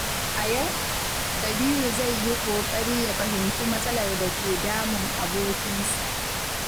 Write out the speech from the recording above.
A yau, Kabiru zai yi ƙoƙari ya fahimci matsalar da ke damun abokinsa.